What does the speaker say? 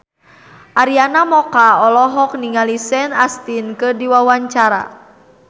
Arina Mocca olohok ningali Sean Astin keur diwawancara